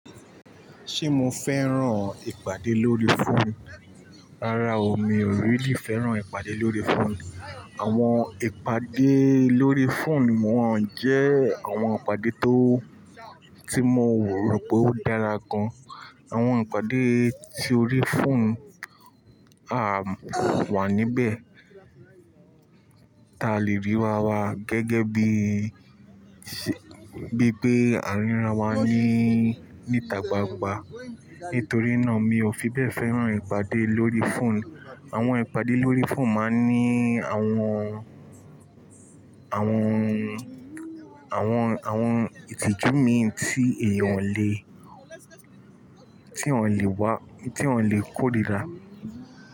Ṣé mo fẹ́ràn ìpàdé lórí fóònù? Rárá o, mi ò rí lì fẹ́ràn ìpàdé lórí fóònù. Àwọn ìpàdé lórí fóònù wọ́n jẹ́ àwọn ìpàdé tó, tí mo wò rò pé ó dára gan. Àwọn ìpàdé tí ó rí fóònù, à, wà níbẹ̀ ta lè rí rá wá gẹ́gẹ́ bí i, bí i pé a ríra wa ní, níta gbangba. Nítorí náà mi ò fi bẹ́ẹ̀ fẹ́ràn ìpàdé lórí fóònù. Àwọn ìpàdé lórí fóònù máa ń ní àwọn, àwọn, àwọn, àwọn ìtìjú mi tí èèyàn le, tí wọ́n lè wá, tí wọ́n lè kórìíra.